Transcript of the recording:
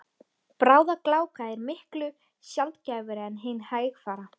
Bráðagláka er miklu sjaldgæfari en hin hægfara.